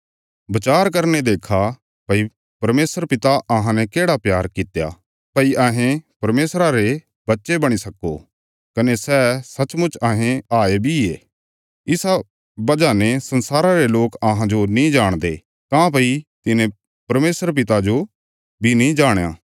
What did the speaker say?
बचार करीने देक्खा भई परमेशर पिता अहांने केढ़ा प्यार कित्या भई अहें परमेशरा रे बच्चे बणी सक्को कने सै सच्चमुच अहें हाये बी ये इसा वजह ने संसारा रे लोक अहांजो नीं जाणदे काँह्भई तिन्हें परमेशर पिता जो बी नीं जाणया